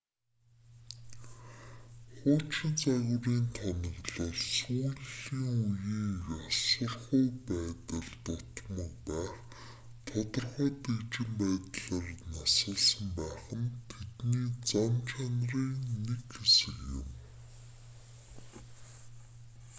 хуучин загварын тоноглол сүүлийн үеийн ёсорхуу байдал дутмаг байх тодорхой дэгжин байдлаар насалсан байх нь тэдний зан чанарын нэг хэсэг юм